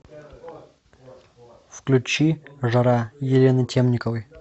включи жара елены темниковой